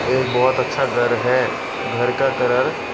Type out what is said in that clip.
एक बहोत अच्छा घर है घर का करर --